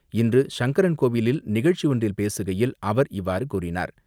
இன்று சங்கரன்கோவிலில் நிகழ்ச்சி ஒன்றில் பேசுகையில் அவர் இவ்வாறு கூறினார்.